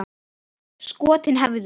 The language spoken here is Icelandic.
Skotin hæfðu!